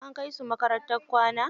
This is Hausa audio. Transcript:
An kai su makarantar kwana.